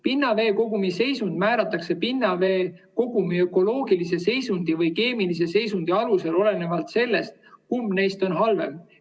Pinnaveekogumi seisund määratakse pinnaveekogumi ökoloogilise seisundi või keemilise seisundi alusel, olenevalt sellest, kumb neist on halvem.